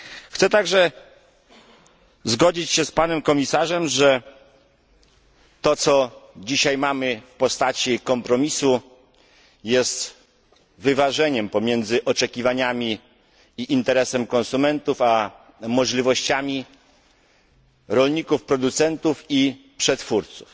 Chcę także zgodzić się z panem komisarzem, że to, co dzisiaj mamy w postaci kompromisu jest wyważeniem pomiędzy oczekiwaniami i interesem konsumentów a możliwościami rolników producentów i przetwórców.